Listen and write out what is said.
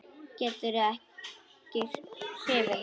Gerður er ekki hrifin.